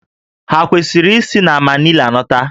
Ha kwesịrị isi na Manila lọta?